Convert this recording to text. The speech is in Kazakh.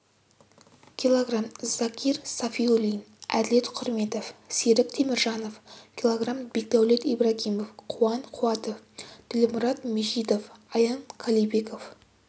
кг закир сафиуллин әділет құрметов серік теміржанов кг бекдәулет ибрагимов қуан қуатов ділмұрат мижитов аян қалибеков